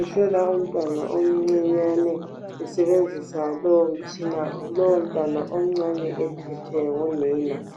ehlola umntwana omncinyane esebenzisa lowo mtshina lowo mntwana omncane ephethwe ngunina.